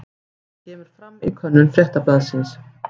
Þetta kemur fram í könnun Fréttablaðsins